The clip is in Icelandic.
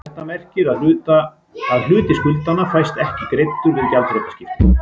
Þetta merkir að hluti skuldanna fæst ekki greiddur við gjaldþrotaskiptin.